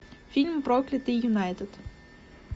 фильм проклятый юнайтед